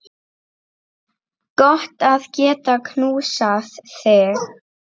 Gott að geta knúsað þig.